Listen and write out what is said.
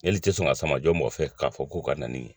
Heli i tɛ sɔn ka sama jɔ mɔgɔfɛ k'a fɔ k'o ka na yan.